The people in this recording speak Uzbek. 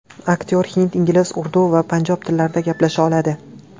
Aktyor hind, ingliz, urdu va panjob tillarida gaplasha oladi.